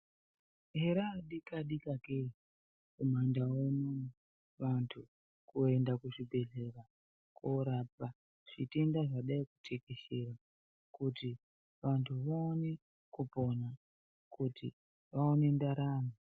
Here adika-dika kee. mumandau muno vantu kuenda kuzvibhedhlera korapa zvitenda zvadai kutekeshera, kuti vantu vaone kupona kuti vaone ndaramo.